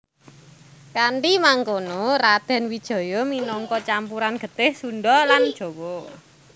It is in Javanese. Kanthi mangkono Radèn Wijaya minangka campuran getih Sundha lan Jawa